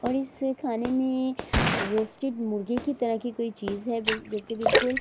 اور اسے خانے مے رواسٹڈ مرگی کی طرح کی کوئی چیز ہے بل جو کی بلکل--